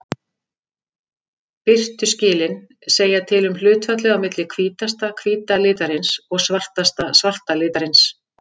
Birtuskilin segja til um hlutfallið á milli hvítasta hvíta litarins og svartasta svarta litarins.